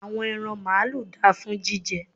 àwọn ẹran maalu da fún jíjẹ